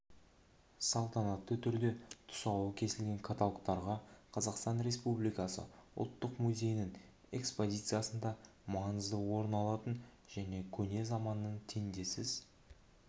салтанатты түрде тұсауы кесілген каталогтарға қазақстан республикасы ұлттық музейінің экспозициясында маңызды орын алатын көне заманның теңдессіз